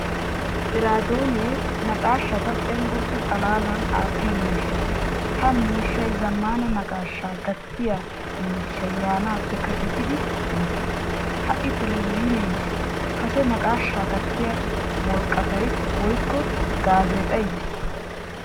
Eradoone naqaashata cenggurssaa xalaalan attiyaa miishshaa. Ha miishshay zamaana naaqashshaa gattiyaa miishshay yaanappe kasettidi yiis. Ha'i televzhine yiis. Kase naaqashshaa gattiyaa worqqattay woykko gaazexay yiis.